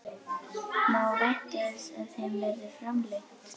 Má vænta þess að þeim verði framlengt?